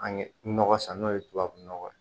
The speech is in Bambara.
An ye nɔgɔ san n'o ye tubabu nɔgɔ ye